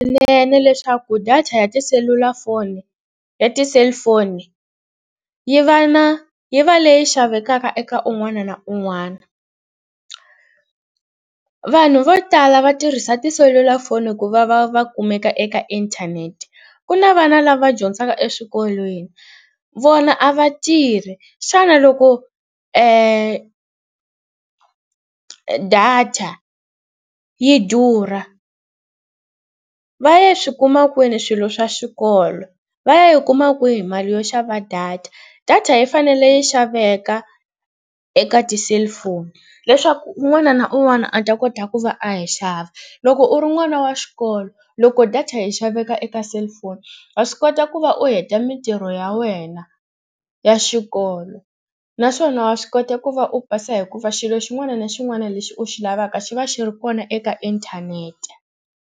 leswaku data ya tiselulafoni ya ti-cellphone yi va na yi va leyi xavekaka eka un'wana na un'wana. Vanhu vo tala va tirhisa tiselulafoni ku va va va kumeka eka inthanete. Ku na vana lava dyondzaka eswikolweni vona a va tirhi xana loko data yi durha va ya swi kuma kwini swilo swa xikolo? Va ya yi kuma kwihi mali yo xava data? Data yi fanele yi xaveka eka ti-cellphone leswaku un'wana na un'wana a ta kota ku va a yi xava. Loko u ri n'wana wa xikolo loko data yi xaveka eka cellphone wa swi kota ku va u heta mitirho ya wena ya xikolo naswona wa swi kota ku va u pasa hikuva xilo xin'wana na xin'wana lexi u xi lavaka xi va xi ri kona eka inthanete.